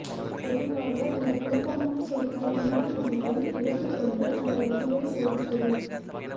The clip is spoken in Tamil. பொதுவாக இந்த குழப்பமான சொற்கள் வினாடி வினாவை எடுத்துக் கொண்டு உங்கள் அறிவை சோதிக்கவும்